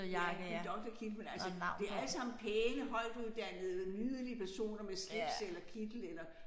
Ja en doktorkittel men altså det allesammen pæne højtuddannede nydelige personer med slips eller kittel eller